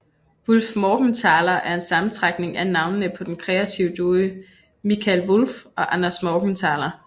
Wullfmorgenthaler er en sammentrækning af navnene på den kreative duo Mikael Wulff og Anders Morgenthaler